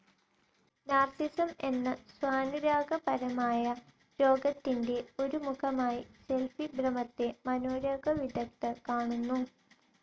Narcissism എന്ന സ്വാനുരാഗ പരമായ രോഗത്തിൻ്റെ ഒരു മുഖമായി സെൽഫി ഭ്രമത്തെ മനോരോഗ വിദഗ്ദ്ധർ കാണുന്നു.